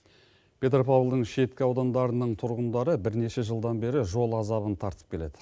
петропавлдың шеткі аудандарының тұрғындары бірнеше жылдан бері жол азабын тартып келеді